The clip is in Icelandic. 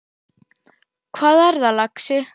Hvað er það, lagsi?